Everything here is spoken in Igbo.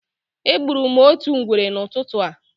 Egburu m otu ngwere n'ụtụtụ a.